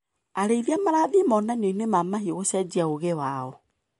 Arĩithia marathiĩ monanioinĩ ma mahiũ gũcenjia ũgĩ wao.